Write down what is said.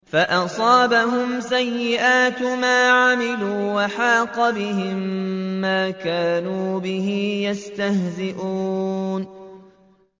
فَأَصَابَهُمْ سَيِّئَاتُ مَا عَمِلُوا وَحَاقَ بِهِم مَّا كَانُوا بِهِ يَسْتَهْزِئُونَ